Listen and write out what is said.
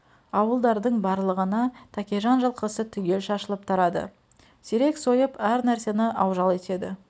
ауылдардың барлығына тәкежан жылқысы түгел шашылып тарады сирек сойып әр нәрсені аужал етеді